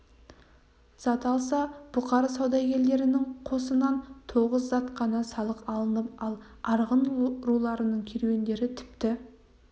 зат алса бұқар саудагерлерінің қосынан тоғыз зат қана салық алынылып ал арғын руларының керуендері тіпті